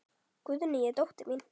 Guðný er dóttir mín.